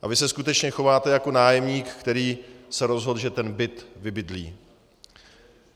A vy se skutečně chováte jako nájemník, který se rozhodl, že ten byt vybydlí.